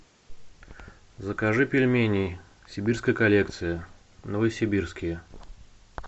закажи пельмени сибирская коллекция новосибирские